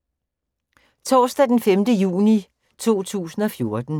Torsdag d. 5. juni 2014